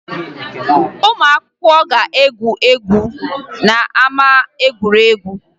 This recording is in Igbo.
Ụmụ akwụkwọ ga-egwu egwu n'ama egwuregwu